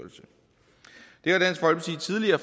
synes at